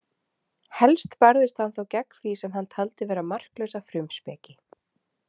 Helst barðist hann þó gegn því sem hann taldi vera marklausa frumspeki.